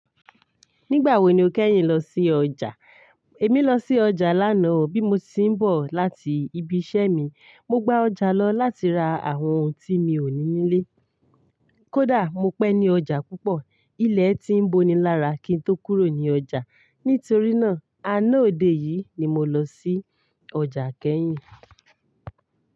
Nígbà wo ni o kẹ́yìn lọ sí ọjà? Èmi lọ sí ọjà lánà o bí mo ti ń bọ̀ láti ibi iṣẹ́ mi. Mo gbá ọjà lọ láti ra àwọn ohun tí mi ò ní nílé. Kódà mo pẹ́ ní ọjà púpọ̀, ilẹ̀ ti ń boni lára kín tó kúrò ní ọjà. Nítorí náà, aná òde yìí ni mo lọ sí ọjà kẹ́yìn.